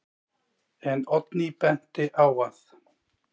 En Oddný benti á að: